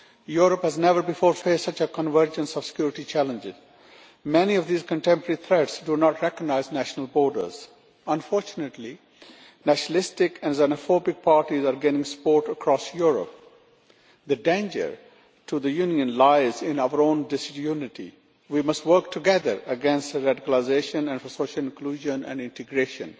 Europe has never before faced such a convergence of security challenges, and many of these contemporary threats do not recognise national borders. Unfortunately, nationalistic and xenophobic parties are gaining support across Europe. The danger to the Union lies in our own disunity we must work together against radicalisation and for social inclusion and integration.